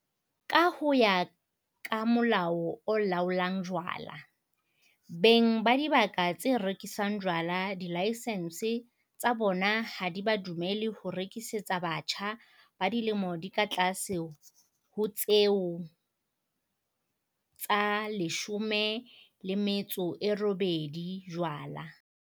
Ka ho ya ka Molao o Laolang Jwala, beng ba dibaka tse rekisang jwala dilaesense tsa bona ha di ba dumelle ho rekisetsa batjha ba dilemo di ka tlase ho tse 18 jwala.